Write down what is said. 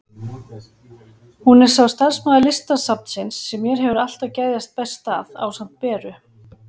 Hún er sá starfsmaður Listasafnsins sem mér hefur alltaf geðjast best að, ásamt Beru.